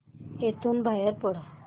इथून बाहेर पड